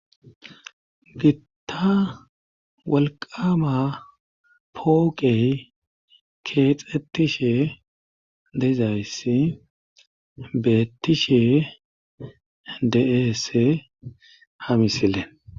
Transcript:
gitta walqama pooqey keexxetishe deizayssi beettishe de7eese ha misile